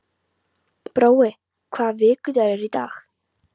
Brói, hvaða vikudagur er í dag?